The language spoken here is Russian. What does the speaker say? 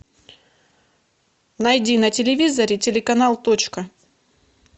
найди на телевизоре телеканал точка